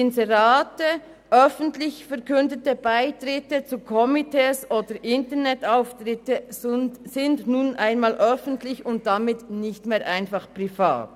Inserate, öffentlich verkündete Beitritte zu Komitees oder Internetauftritte sind nun einmal öffentlich und damit nicht mehr einfach privat.